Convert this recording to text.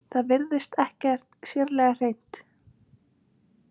Það virtist ekkert sérlega hreint.